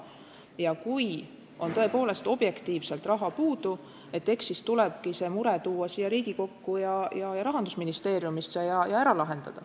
Ja kui on tõepoolest objektiivsel põhjusel raha puudu, eks siis tulebki see mure tuua siia Riigikokku ja Rahandusministeeriumisse ja ära lahendada.